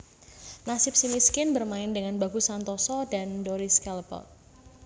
Nasib Si Miskin bermain dengan Bagus Santoso dan Doris Callebaute